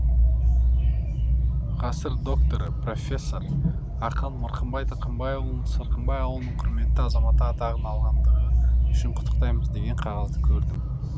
ғасыр докторы профессор ақын мырқымбай тырқымбайұлын сырқымбай ауылының құрметті азаматы атағын алғандығы үшін құттықтаймыз деген қағазды көрдім